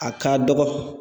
A ka dɔgɔ.